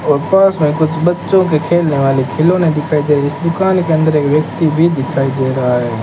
और पास में कुछ बच्चों के खेलने वाले खिलौने दिखाई दे रहे इस दुकान के अंदर एक व्यक्ति भी दिखाई दे रहा है।